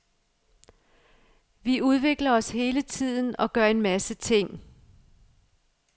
Vi udvikler os hele tiden og gør en masse ting.